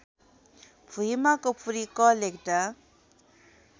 भुइमा कपुरी क लेख्दा